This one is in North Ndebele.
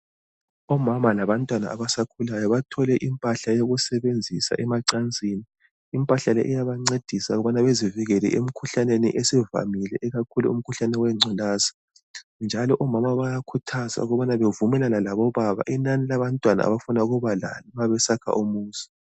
Omama labantwana abasakhulayo bathole impahla yokusebenzisa emacansini. Impahla le iyabancedisa ukubana bezivikele emkhuhlaneni esivamile ikakhulu emkhuhlaneni wengculaza, njalo omama bayakhuthazwa ukubana bevumelane labobaba inani labantwana abafuna ukubalabo nxa besakha umuzi.